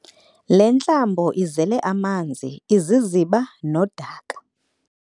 Le ntlambo izele amanzi, iziziba nodaka.